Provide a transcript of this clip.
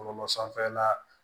Bɔlɔlɔ sanfɛla la